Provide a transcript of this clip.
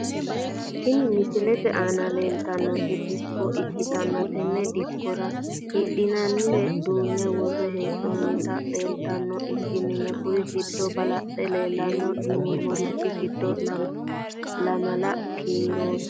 Tini misilete aana leeltanoti dikko ikitana tene dikkora hidhinayiire duune wore heenonitino leeltanoha ikkanna kuri giddo balaxe leelano yinemorichi giddo lamala kiiroti.